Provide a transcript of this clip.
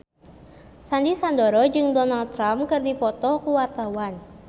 Sandy Sandoro jeung Donald Trump keur dipoto ku wartawan